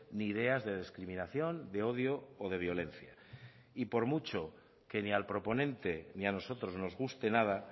ni ideas de discriminación de odio o de violencia y por mucho que ni al proponente ni a nosotros nos guste nada